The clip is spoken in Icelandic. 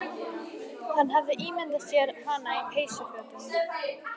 Hann hafði alltaf ímyndað sér hana á peysufötum